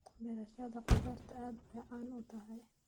Beerashada khudaarta aad bay caan u tahay.